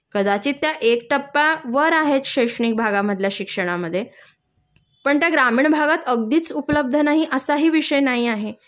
कदाचित त्या एक टप्पा वर आहेत शैक्षिणक भागामधल्या शिक्षणामध्ये, पण त्या ग्रामीण भागात अगदीच उपलब्ध नाही असाही विषय नाही आहे